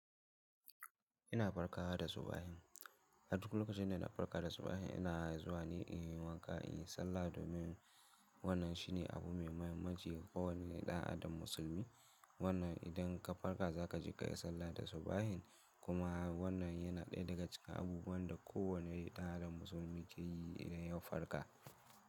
Ina barka da subahin. A duk lokacin da ina farka da subahin ina zuwa ne inyi wanka, in yi sallah domin wannan shine abu mai mahimmanci ga kowane ɗan adam musulmi. Wannan idan ka farka za ka je kayi sallah da subahin kuma wannan yana ɗaya daga cikin abubuwan da kowane ɗan adam musulmi ke yi idan ya farka.